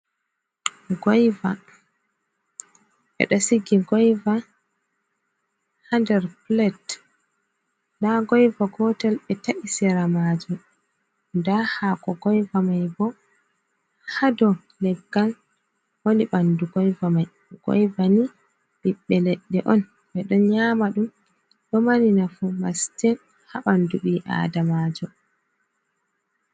Goyva be do sigi goyva hander plat da goyva gotel be ta’i sira majum, da hako goyva mai bo hado leggal woni bandu goyva mai goyva ni bibbe ledde on be don nyama dum do mani nafu mastin habandu bi adamajo.